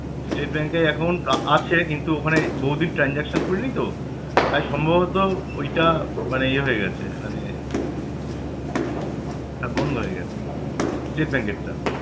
State Bank এ account আ~ আছে কিন্তু ওখানে বহুদিন transaction করিনি তো তাই সম্ভবত ঐটা মানে ইয়ে হয়ে গেছে মানে হ্যাঁ বন্ধ হয়ে গেছে State Bank এর টা